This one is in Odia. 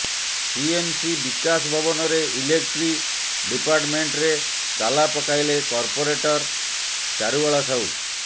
ସିଏମସି ବିକାଶ ଭବନରେ ଇଲେକ୍ଟ୍ରି ଡିପାର୍ଟମେଣ୍ଟରେ ତାଲା ପକାଇଲେ କର୍ପୋରେଟର ଚାରୁବାଳା ସାହୁ